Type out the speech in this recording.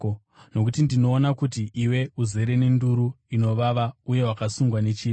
Nokuti ndinoona kuti iwe uzere nduru inovava uye wakasungwa nechivi.”